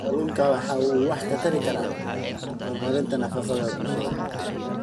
Kalluunku waxa uu wax ka tari karaa horumarinta nafaqada bulshada.